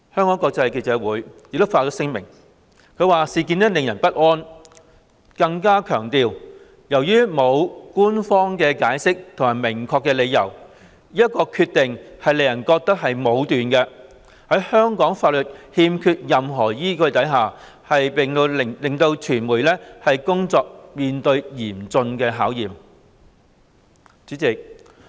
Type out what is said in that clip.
外國記者會亦發聲明，指事件令人不安，更強調"由於沒有官方解釋或明確理由，這一決定令人覺得是武斷的，在香港法律缺乏任何依據，並令媒體工作面對嚴峻考驗。